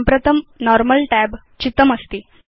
प्रत्येकम् अवसर्पिणीं निर्मातुम् इदं मुख्य व्यू अस्ति